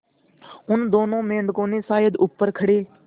उन दोनों मेढकों ने शायद ऊपर खड़े